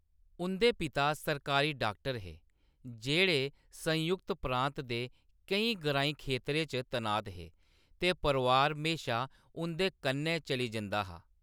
उंʼदे पिता सरकारी डाक्टर हे, जेह्‌‌ड़े संयुक्त प्रांत दे केईं ग्राईं खेतरें च तनात हे, ते परोआर म्हेशा उंʼदे कन्नै चली जंदा हा।